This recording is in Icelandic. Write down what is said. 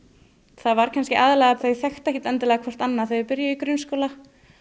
það var kannski aðallega að þau þekktu ekkert endilega hvert annað þegar þau byrjuðu í grunnskóla